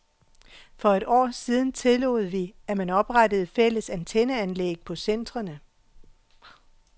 For et år siden tillod vi, at man oprettede fælles antenneanlæg på centrene.